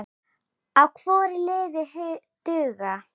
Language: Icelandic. á hvorri hlið duga.